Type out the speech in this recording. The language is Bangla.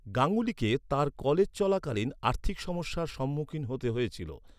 গাঙ্গুলিকে তাঁর কলেজ চলাকালীন আর্থিক সমস্যার সম্মুখীন হতে হয়েছিল।